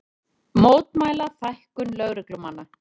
Mótmæla fækkun lögreglumanna